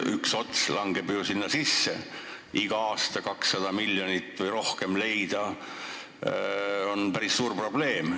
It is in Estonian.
Üks osa jääb ju sinna sisse ning iga aasta 200 miljonit või rohkem leida on päris suur probleem.